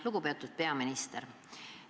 Lugupeetud peaminister!